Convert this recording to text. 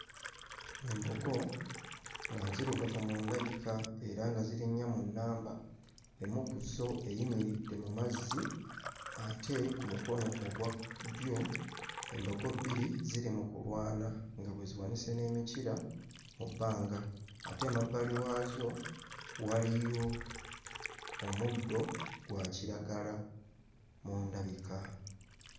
Embogo nga nzirugavu mu ndabika era nga ziri nnya mu nnamba. Emu ku zo eyimiridde mu mazzi ate ku mukono ogwa ddyo embogo bbiri ziri mu kulwana nga bwe ziwanise n'emikira mu bbanga ate emabbali waazo waliyo omuddo gwa kiragala mu ndabika.